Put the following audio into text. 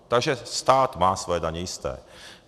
Takže stát má své daně jisté.